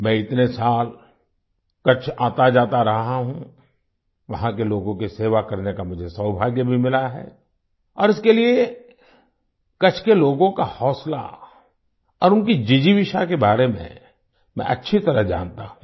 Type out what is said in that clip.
मैं इतने साल कच्छ आताजाता रहा हूँ वहाँ के लोगों की सेवा करने का मुझे सौभाग्य भी मिला है और इसके लिए कच्छ के लोगों का हौंसला और उनकी जिजीविषा के बारे मैं अच्छी तरह जानता हूँ